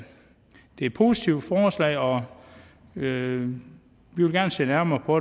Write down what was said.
et positivt forslag og vi vil gerne se nærmere på